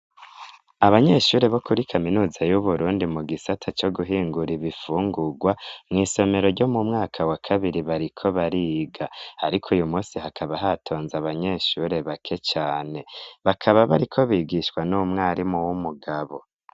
abanyeshure bokuri kaminuza y'uburundi mu gisata co guhingura ibifungugwa mw' isomero ryo mumwaka wa kabiri bariko bariga ariko uyu munsi hakaba hatonze abanyeshure bake cane bakaba bariko bigishwa n'umwarimu w'umugabo